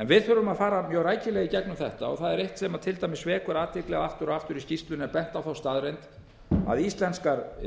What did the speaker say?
en við þurfum að fara mjög rækilega í gegnum þetta það er eitt sem til dæmis vekur athygli að aftur og aftur í skýrslunni er bent á staðreynd að íslenskar